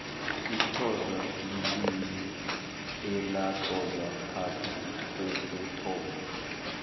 isixhosa lilimi elatlolwa phasi kokuthoma